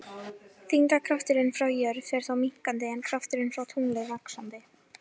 Þyngdarkrafturinn frá jörð fer þá minnkandi en krafturinn frá tungli vaxandi.